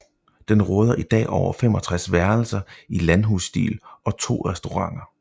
Den råder i dag over 65 værelser i landhusstil og to restauranter